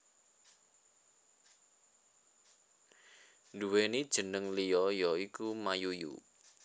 Duwéni jénéng liya ya iku Mayuyu